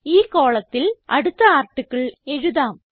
ഈ കോളത്തിൽ അടുത്ത ആർട്ടിക്കിൾ എഴുതാം